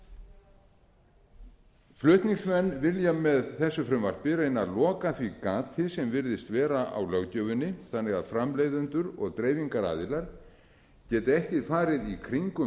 auglýsa flutningsmenn vilja með frumvarpi þessu reyna að loka því gati sem virðist vera á löggjöfinni þannig að framleiðendur og dreifingaraðilar geti ekki farið í kringum